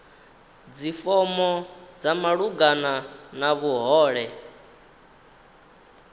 dzifomo dza malugana na vhuhole